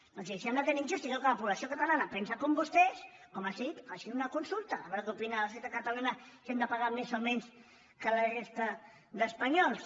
doncs si li sembla tan injust i creu que la població catalana pensa com vostès com els he dit facin una consulta a veure què opina la societat catalana si hem de pagar més o menys que la resta d’espanyols